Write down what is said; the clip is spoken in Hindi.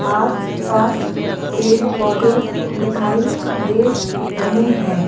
आस-पास पेड़-पौधे दिखाई दे रहे हैं।